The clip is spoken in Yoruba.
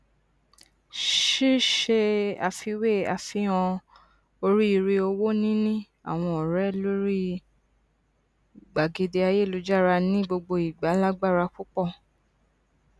ṣíṣe àfiwé àfihàn oríire owó níní àwọn ọrẹ lórí gbàgede ayélujára ní gbogbo ìgbà lágbára púpọ